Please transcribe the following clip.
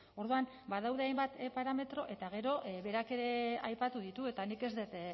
orduan badaude hainbat parametro eta gero berak ere aipatu ditu eta nik ez dut